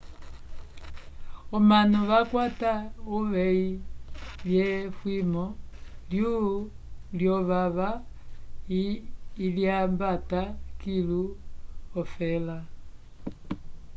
omanu vakwata uvehi lye fwimo lyo vava ilyambata kilu ofela